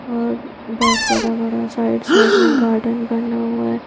और बहुत बड़ा बड़ा साइड साइड में गार्डन बना हुआ है ।